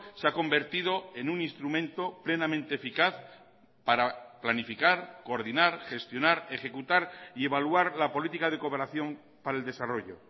se ha convertido en un instrumento plenamente eficaz para planificar coordinar gestionar ejecutar y evaluar la política de cooperación para el desarrollo